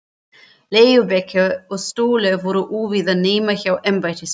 Legubekkir og stólar voru óvíða nema hjá embættismönnum.